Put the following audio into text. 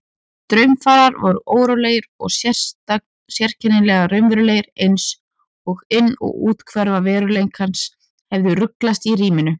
Draumfarir voru órólegar og sérkennilega raunverulegar einsog inn- og úthverfa veruleikans hefðu ruglast í ríminu.